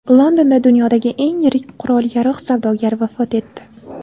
Londonda dunyodagi eng yirik qurol-yarog‘ savdogari vafot etdi.